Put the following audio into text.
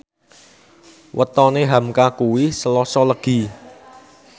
wetone hamka kuwi Selasa Legi